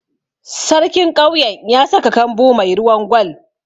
Sarkin ƙauyen ya saka kambu mai ruwan Gwal.